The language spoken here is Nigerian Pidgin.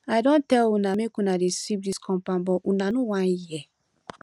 i don tell una make una dey sweep dis compound but una no wan hear